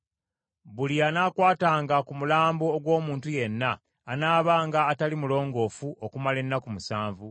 “Buli anaakwatanga ku mulambo ogw’omuntu yenna, anaabanga atali mulongoofu okumala ennaku musanvu.